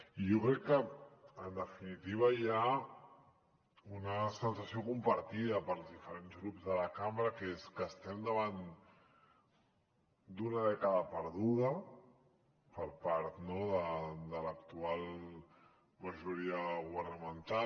i jo crec que en definitiva hi ha una sensació compartida pels diferents grups de la cambra que és que estem davant d’una dècada perduda per part de l’actual majoria governamental